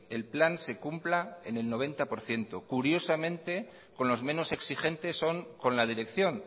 el plan se cumpla en el noventa por ciento curiosamente con los menos exigentes son con la dirección